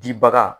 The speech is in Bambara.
Jibaga